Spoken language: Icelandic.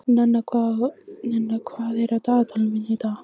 Nenna, hvað er á dagatalinu mínu í dag?